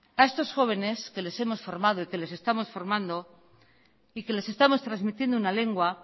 a estos jóvenes que les hemos formado y que les estamos formando y que les estamos transmitiendo una lengua